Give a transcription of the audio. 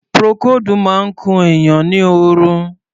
Procold máa ń kun èèyàn ni oorun.